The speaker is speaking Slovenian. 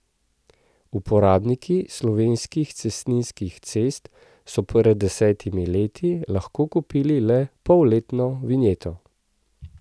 Uporabniki slovenskih cestninskih cest so pred desetimi leti lahko kupili le polletno vinjeto.